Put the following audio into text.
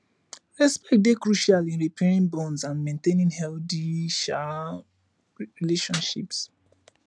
respect dey crucial in repairing bonds and maintaining healthy um relationships